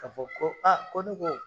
Ka fɔ ko ko ne ko